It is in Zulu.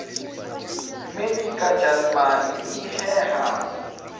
melika jalimane iheha